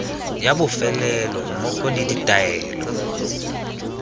ya bofelo mmogo le ditaelo